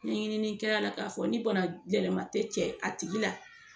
Ni ɲinini kɛla la k'a fɔ ni bana gɛlɛma tɛ cɛ a tigi la.